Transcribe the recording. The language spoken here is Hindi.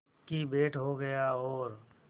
की भेंट हो गया और